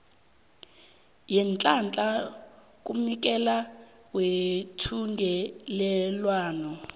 yeenhlahla kumnikeli wethungelelwano